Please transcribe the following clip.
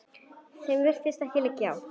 Þeim virðist ekkert liggja á.